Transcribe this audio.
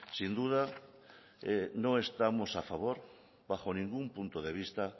sin duda no estamos a favor bajo ningún punto de vista